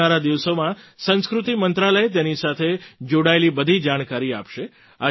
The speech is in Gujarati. આવનારા દિવસોમાં સંસ્કૃતિ મંત્રાલય તેની સાથે જોડાયેલી બધી જાણકારી આપશે